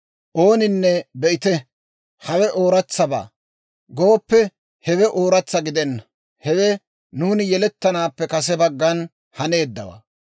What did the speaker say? Ooninne, «Be'ite! Hawe ooratsabaa» gooppe, hewe ooratsa gidenna; hewe nuuni yelettanaappe kase baggan haneeddawaa.